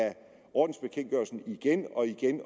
ordensbekendtgørelsen igen og igen